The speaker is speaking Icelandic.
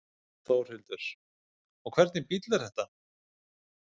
Þórhildur: Og hvernig bíll er þetta?